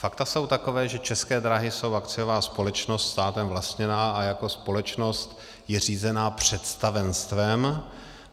Fakta jsou taková, že České dráhy jsou akciová společnost státem vlastněná a jako společnost je řízena představenstvem.